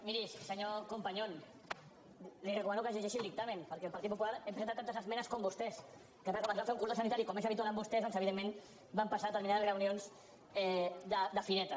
miri senyor companyon li recomano que es llegeixi el dictamen perquè el partit popular hi hem presentat tantes esmenes com vostès el que passa és que com que ens va fer un cordó sanitari com és habitual en vostès doncs evidentment van passar determinades reunions de fireta